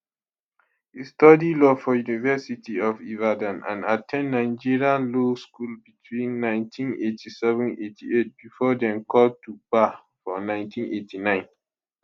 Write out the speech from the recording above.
e study law for university of ibadan and at ten d nigerian law school between 198788 before dem call to bar for 1989